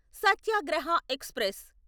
Satyagraha express